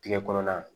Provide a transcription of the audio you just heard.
Tigɛkɔrɔ na